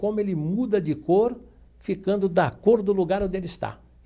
Como ele muda de cor, ficando da cor do lugar onde ele está.